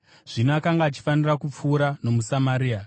Zvino akanga achifanira kupfuura nomuSamaria.